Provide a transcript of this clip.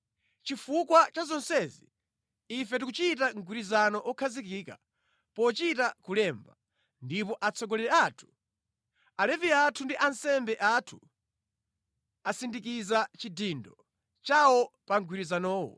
“Chifukwa cha zonsezi, ife tikuchita mgwirizano wokhazikika, pochita kulemba, ndipo atsogoleri athu, Alevi athu ndi ansembe athu asindikiza chidindo chawo pa mgwirizanowo.”